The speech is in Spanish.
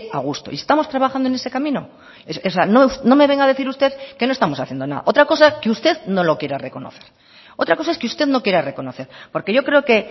a gusto y estamos trabajando en ese camino o sea no me venga a decir usted que no estamos haciendo nada otra cosa que usted no lo quiera reconocer otra cosa es que usted no quiera reconocer porque yo creo que